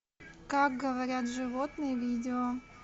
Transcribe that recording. как говорят животные видео